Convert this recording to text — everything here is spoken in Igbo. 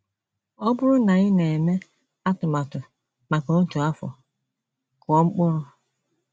“ Ọ bụrụ na ị na - eme atụmatụ maka otu afọ, kụọ mkpụrụ.